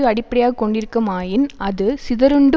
அடிப்படையாக கொண்டிருக்குமாயின் அது சிதறுண்டு